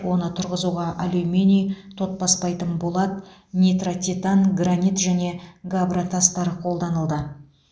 оны тұрғызуға алюминий тот баспайтын болат нитротитан гранит және габра тастар қолданылды